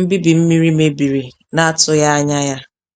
nbibi mmiri mebiri na-atụghị anya ya.